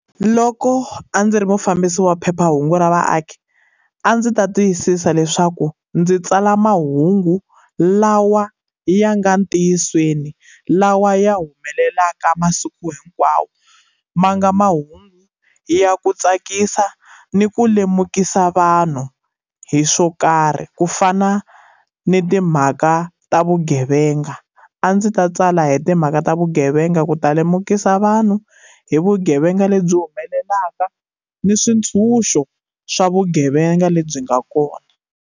Loko a ndzi ri mufambisi wa phephahungu ra vaaki, a ndzi ta tiyisisa leswaku ndzi tsala mahungu lawa ya nga ntiyisweni, lawa ya humelelaka masiku hinkwawo, ma nga mahungu ya ku tsakisa, ni ku lemukisa vanhu hi swo karhi ku fana ni timhaka ta vugevenga. A ndzi ta tsala hi timhaka ta vugevenga ku ta lemukisa vanhu hi vugevenga lebyi humelelaka, ni swintshunxo swa vugevenga lebyi nga kona.